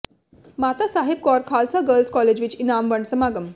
ਮਾਤਾ Sahib Kaur Khalsa girls college ਵਿੱਚ ਇਨਾਮ ਵੰਡ ਸਮਾਗਮ